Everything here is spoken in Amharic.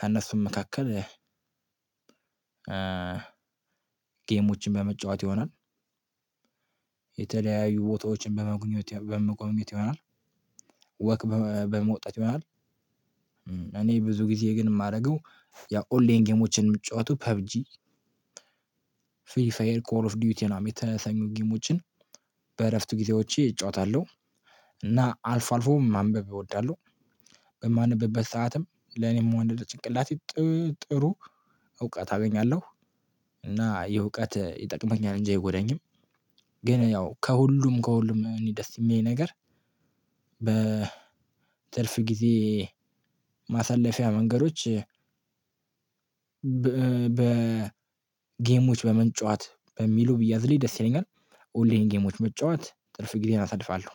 ከእነሱም መካከል ጌሞችን በመጫወት ይሆናል። የተለያዩ ቦታዎችን በመጎብኘት በመጎብኘት ይሆናል። ወክ በመውጣት ይሆናል። እኔ ብዙ ጊዜ ግን የማደርገው ያ ኦላይን ጌሞችን የምጫወቱ ፐብ ጂ ፍሪ ፋየር ኮር ኦፍ ዱቲን ነው። የተሰኙ ጊሞችን በእረፍት ጊዜዎቼ እጫወታለሁ። እና አልፎ አልፎ ማንበብ እወዳለሁ። በማንብበት ሰዓትም ለኔም ወንድ ጭንቅላቴ ጥሩ እውቀት አገኛለሁ እና ይሄ እውቀት ይጠቅመኛል እንጂ አይጎዳኚም። ግን ያው ከሁሉም ከሁሉም እኔ ደስ የሚለኝ ነገር። የትርፍ ጊዜ ማሳለፊያ መንገዶች በ ጌሞች በመጫወት በሚሉ ቢያዝልኝ ደስ ይለኛል። ኦንላይን ጌሞች መጫወት ትርፍ ጊዜን አሳልፋለሁ።